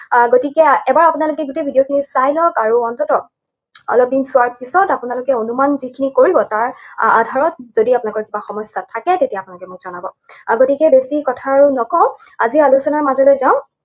আহ গতিকে এবাৰ আপোনালোকে গোটেই video টো চাই লওক, আৰু অন্ততঃ অলপদিন চোৱাৰ পিছত আপোনালোকে অনুমান যিখিনি কৰিব, তাৰ আহ আধাৰত যদি আপোনালোকৰ কিবা সমস্যা থাকে, তেতিয়াহলে আপোনালোকে মোৰ জনাব। আহ গতিকে বেছি কথা আৰু নকওঁ। আজিৰ আলোচনাৰ মাজলৈ যাওঁ।